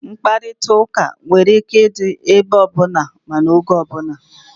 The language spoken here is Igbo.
Nkparịta ụka nwere ike ịdị ebe ọbụla na n'oge ọbula